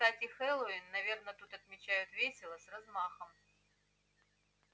кстати хэллоуин наверное тут отмечают весело с размахом